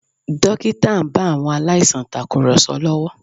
Dókítà ń bá àwọn aláìsàn tàkùrọ̀sọ lọ́wọ́